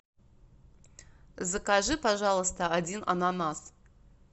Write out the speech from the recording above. закажи пожалуйста один ананас